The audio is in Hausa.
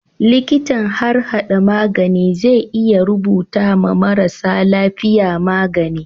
Liƙitan harhada magani zai iya rubuta ma marasa lafiya magani